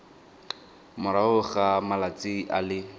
morago ga malatsi a le